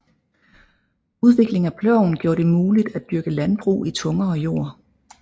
Udvikling af ploven gjorde det muligt at dyrke landbrug i tungere jord